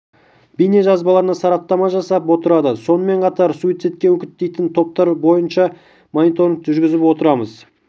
бейне жазбаларына сараптама жасап отырады сонымен қатар суицидке үгіттейтін топтар бойынша да мониторинг жүргізіп отырамыз